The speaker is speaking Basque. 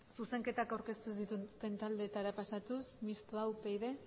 zuzenketak aurkeztu ez dituzten taldeetara pasatuz mistoa upyd